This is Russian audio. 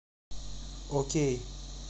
окей